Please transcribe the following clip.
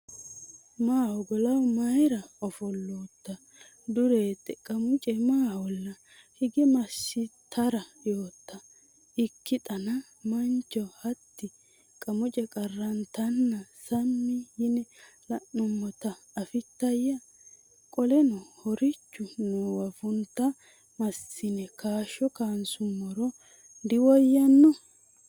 Maaho golaho mayra ofollootta? Dureette Qamuce maaholla? hige massitara yootto? Ikkixana mancho hatti Qamuce qarrantanna sammi yine la’nummota afittoyya? Qoleno ho’richu noowa funta massine kaashsha kaansummoro diwoyyanno?